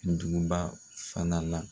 duguba fana la